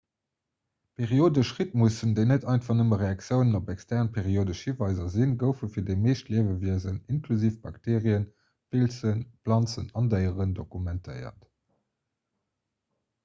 periodesch rhytmussen déi net einfach nëmme reaktiounen op extern periodesch hiweiser sinn goufe fir déi meescht liewewiesen inklusiv bakteerien pilzen planzen an déieren dokumentéiert